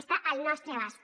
està al nostre abast